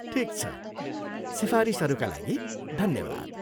ठिक छ, सिफारिसहरूका लागि धन्यवाद!